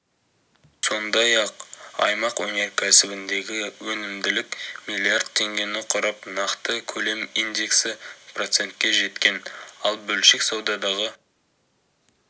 сондай-ақ аймақ өнеркәсібіндегі өнімділік миллиард теңгені құрап нақты көлем индексі процентке жеткен ал бөлшек саудадағы